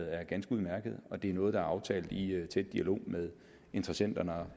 er ganske udmærket og det er noget som er aftalt i tæt dialog med interessenterne